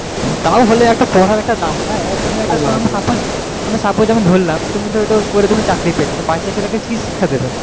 তা হলেও একটা পড়ার একটা দাম নয় এবার তুমি একটা suppose আমি ধরলাম তুমি ধর ওটা করে তুমি চাকরি পেলে তো বাচ্ছা ছেলেকে কি শিক্ষা দেবে।